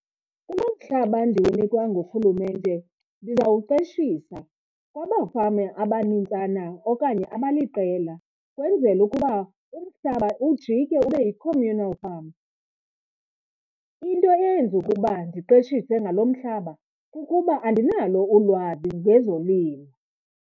Kulo mhlaba ndiwunikwa ngurhulumente ndizawuqeshisa kwabafama abanintsana okanye abaliqela, ukwenzela ukuba umhlaba ujike ube yi-communal farm. Into eyenza ukuba ndiqeshise ngalo mhlaba kukuba andinalo ulwazi ngezolimo.